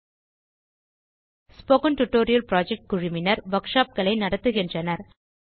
spoken tutorial project குழுவினர் workshop களை நடத்துகின்றனர்